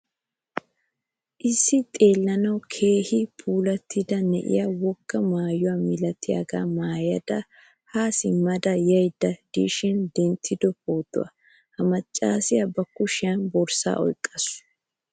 Issi xeellaanawu keehin puulattida na'iyaa wogaa maayo milattiyaga maayada ha simmada yayda dishin denttido pootuwaa. Ha maccasiya ba kushiyan borssa oyqqasu.